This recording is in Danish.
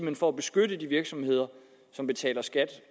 er for at beskytte de virksomheder som betaler skat